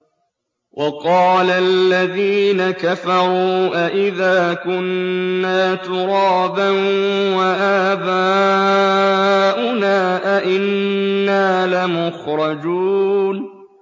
وَقَالَ الَّذِينَ كَفَرُوا أَإِذَا كُنَّا تُرَابًا وَآبَاؤُنَا أَئِنَّا لَمُخْرَجُونَ